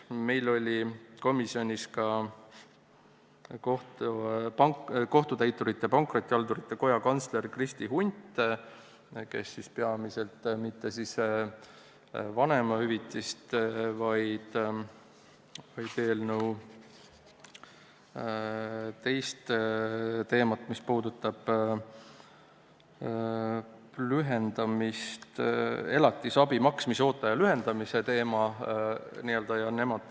Meil oli komisjonis ka Kohtutäiturite ja Pankrotihaldurite Koja kantsler Kristi Hunt, kes ei käsitlenud mitte vanemahüvitist, vaid eelnõu teist teemat: elatisabi maksmise ooteaja lühendamist.